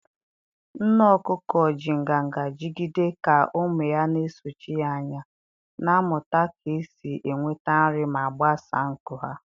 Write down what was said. Nne okuko ji nganga jigide ka ụmụ ya na-esochi ya anya, na-amụta ka esi enweta nri ma gbasaa nku ha.